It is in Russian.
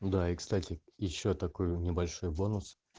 ну да и кстати ещё такой небольшой бонус